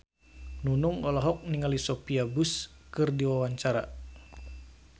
Nunung olohok ningali Sophia Bush keur diwawancara